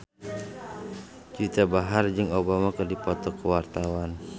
Juwita Bahar jeung Obama keur dipoto ku wartawan